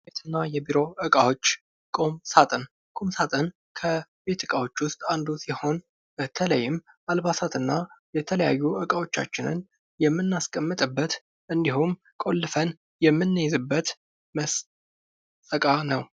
ቁም ሳጥን በተለይም አልባሳትን እና የተለያዩ እቃዎቻችንን የምናስቀምጥበት እንዲሁም ቁልፈን የምንይዝበት እቃ ነው፡፡